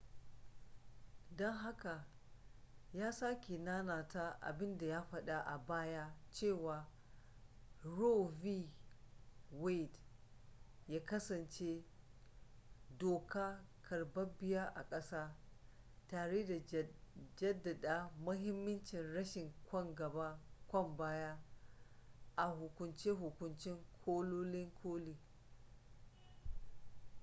don haka ya sake nanata abinda ya fada a baya cewa roe v wade ya kasance doka karbabbiya ar ƙasa tare da jaddada mahimmancin rashin kwan gaba kwan baya a hukunce-hukunce kolin koli